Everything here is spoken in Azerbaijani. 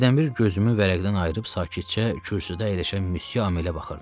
Hərdənbir gözümü vərəqdən ayırıb sakitcə kürsüdə əyləşən Müsyö Hamelə baxırdım.